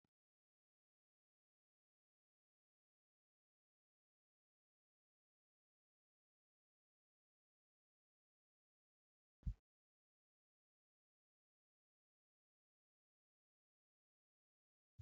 Dubartiin ibidda irratti buna akaayaa jirti. Isheen takka immoo namootaf buna qicaa jirti. Naannoo kanatti meeshaalen buna danfisuuf tajaajilan hedduun ni jiru. Dubartiin buna akaayaa jirtu mataa ishee jala shaashii marattee jirti.